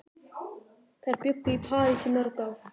Þær bjuggu í París í mörg ár.